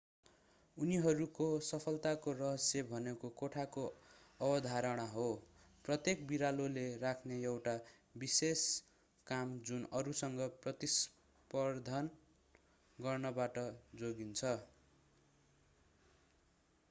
उनीहरूको सफलताको रहस्य भनेको कोठाको अवधारणा हो प्रत्येक बिरालोले राख्ने एउटा विशेष काम जुन अरूसँग प्रतिस्पर्धा गर्नबाट जोगिन्छ